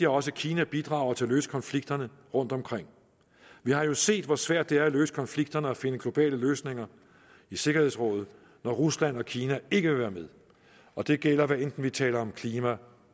også kina bidrager til at løse konflikterne rundtomkring vi har jo set hvor svært det er at løse konflikterne og finde globale løsninger i sikkerhedsrådet når rusland og kina ikke vil være med og det gælder hvad enten vi taler om klima